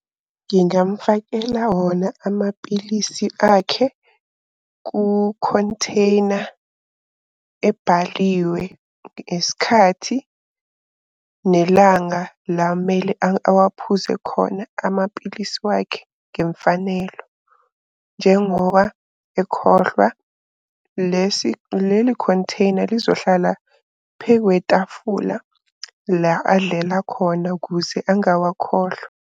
Ngingamufakela wona amapilisi akhe ku-container ebhaliwe, isikhathi, nelanga la mele awaphuze khona amapilisi wakhe ngemfanelo. Njengoba ekhohlwa lesi leli-container lizohlala phekwetafula la adlela khona ukuze angawakhohlwa.